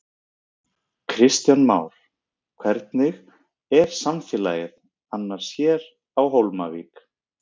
Kristján Már: Hvernig er samfélagið annars hér á Hólmavík?